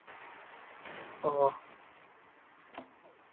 ஒ